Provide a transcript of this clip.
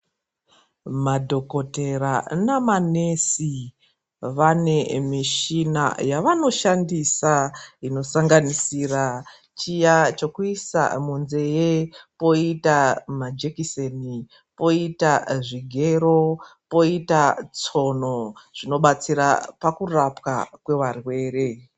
Madhokoteya nemanesi ,vane michini yavanoshandisa inosanganisira chiya chekuisa munzee, kwoita majekiseni, poita zvigero ,poita tsono zvinobatsira pakurapwa kwevarwere.